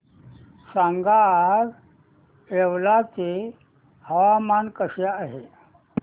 सांगा आज येवला चे हवामान कसे आहे